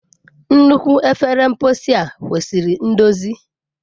Nnukwu efere mposi a kwesịrị ndozi.